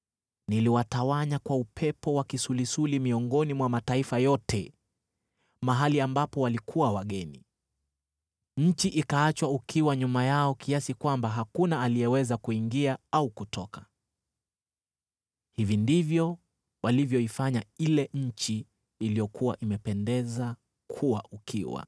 ‘Niliwatawanya kwa upepo wa kisulisuli miongoni mwa mataifa yote, mahali ambapo walikuwa wageni. Nchi ikaachwa ukiwa nyuma yao kiasi kwamba hakuna aliyeweza kuingia au kutoka. Hivi ndivyo walivyoifanya ile nchi iliyokuwa imependeza kuwa ukiwa.’ ”